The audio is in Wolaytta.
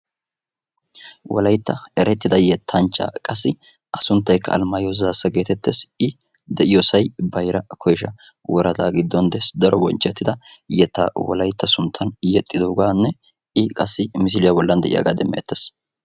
Wolayttan erettida yettanchcha qassi a sunttaykka alamaayoo zaassa getettees. i de'iyoosayikka bayra koyshsha woradaa giddon des. daro bonchchettida yettaa wolaytta suntta sunttan yexxidooganne i qassi misliyaa bollan de'iyaagaa demettees.